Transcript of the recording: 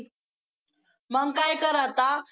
मग काय कर आता